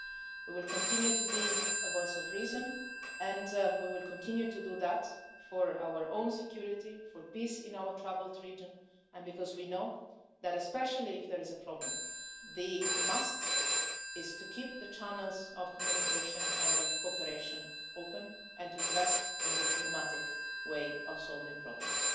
We will continue to be a voice of reason, and we will continue to do that for our own security, for peace in our troubled region, and because we know that especially if there is a problem, the must' is to keep the channels of communication and of cooperation open, and to invest in the diplomatic way of solving problems.